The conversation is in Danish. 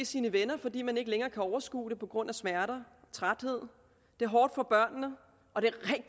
sine venner fordi man ikke længere kan overskue det på grund af smerter træthed det er hårdt for børnene og det